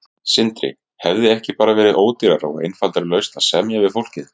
Sindri: Hefði ekki bara verið ódýrara og einfaldari lausn að semja við fólkið?